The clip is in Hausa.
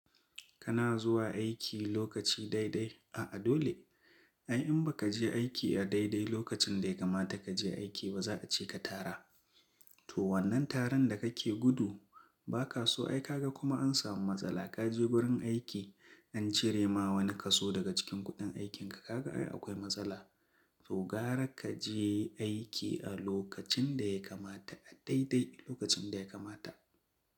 Kana zuwa aiki lokaci daidai, a'a dole. Ai in ba ka je aiki a daidai lokacin da ya kamata ka je aiki ba za a ce ka tara. To wannan taron da kake gudu ba kaso ai kaga kuma an samu matsala ka je wurin aiki an cire ma wani kaso daga cikin kuɗin aikinka kaga ai akwai matsala. To gara ka je aiki a lokacin da ya kamata a daidai lokacin da ya kamata.